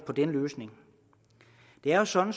på den løsning det er jo sådan